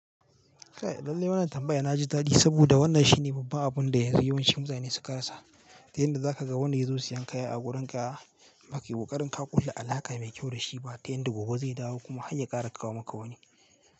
Kai lallai wannan tambaya na ji dadi saboda wannan shine babban abun da yanzu yawancin mutane suka rasa. Ta yanda za ka ga wanda ya zo siyan kaya a wurin ka, za kai ƙoƙarin ka ƙulla alaƙa mai kyau da shi ba ta yadda gobe zai dawo kuma har ya ƙara kawo maka wani.